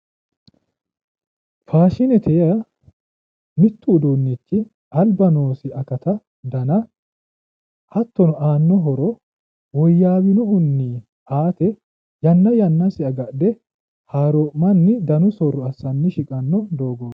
faashinete yaa mittu uduunnichi alba noosi akata dana hattono aanna horo woyyaawinohunni aate yanna yannasi agadhe haaroomma'ni danu soorro assanni shiqanno doogooti.